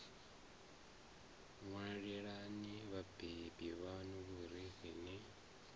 ṅwalelani vhabebi vhaṋu vhurifhi ni